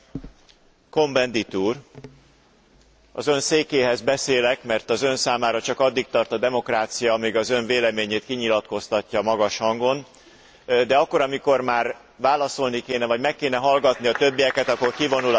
Cohn Bendit úr! Az ön székéhez beszélek, mert az ön számára csak addig tart a demokrácia, amíg az ön véleményét kinyilatkoztatja magas hangon, de akkor, amikor már válaszolni kéne vagy meg kéne hallgatni a többieket, akkor kivonul a teremből.